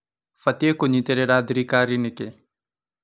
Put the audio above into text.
Batiĩ kũnyitĩrĩra thirikari nĩkĩĩ?